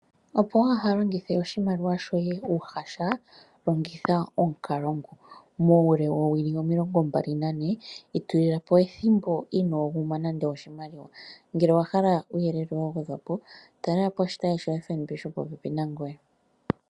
Opo wu ha longithe oshimaliwa shoye uuhasha longitha omukalo ngu, muule woowili omilongo mbali nane itulila po ethimbo inoo guma nande oshimaliwa, ngele owa hala uuyelele wa gwedhwa po, talela po oshitayi sho FNB shopopepi nangoye.